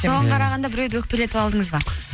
соған қарағанда біреуді өкпелетіп алдыңыз ба